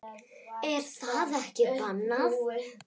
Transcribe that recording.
Er það ekki bannað?